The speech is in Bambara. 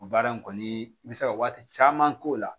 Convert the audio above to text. O baara in kɔni i bɛ se ka waati caman k'o la